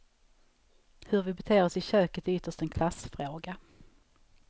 Hur vi beter oss i köket är ytterst en klassfråga.